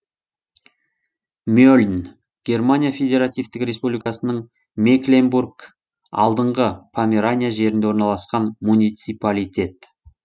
мельн германия федеративтік республикасының мекленбург алдыңғы померания жерінде орналасқан муниципалитет